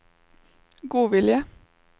godvilje